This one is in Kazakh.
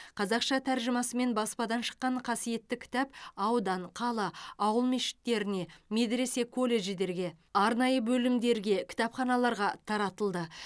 қазақша тәржімасымен баспадан шыққан қасиетті кітап аудан қала ауыл мешіттеріне медресе колледждерге арнайы бөлімдеріге кітапханаларға таратылды